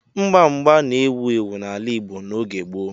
Mgba mgba na-ewu ewu n'ala Igbo n'oge gboo.